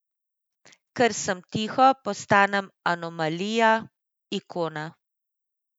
Ker sem tiho, postanem anomalija, ikona.